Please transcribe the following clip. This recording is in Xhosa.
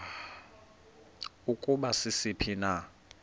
ukuba sisiphi na